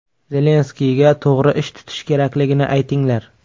Zelenskiyga to‘g‘ri ish tutish kerakligini aytinglar.